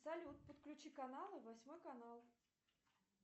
салют подключи каналы восьмой канал